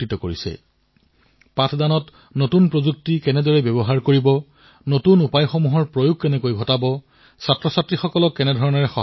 অধ্যয়নত প্ৰযুক্তিৰ অধিক পৰিমাণৰ ব্যৱহাৰ কিদৰে হওক নতুন প্ৰক্ৰিয়া কিদৰে আঁকোৱালি লোৱা হয় শিক্ষাৰ্থীসকলক কিদৰে সহায় কৰা হয় এয়া আমাৰ শিক্ষকসকলে সহজে আঁকোৱালি লৈছে আৰু নিজৰ শিক্ষাৰ্থীসকলকো শিকাইছে